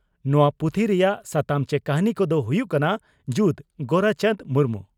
ᱱᱚᱣᱟ ᱯᱩᱛᱷᱤ ᱨᱮᱭᱟᱜ ᱥᱟᱛᱟᱢ ᱪᱮ ᱠᱟᱹᱦᱱᱤ ᱠᱚᱫᱚ ᱦᱩᱭᱩᱜ ᱠᱟᱱᱟ ᱺ ᱡᱩᱫᱽ (ᱜᱳᱨᱟᱪᱟᱱᱫᱽ ᱢᱩᱨᱢᱩ)